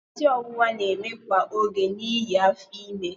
Isi ọwụwa na-eme kwa oge n'ihi afọ ime.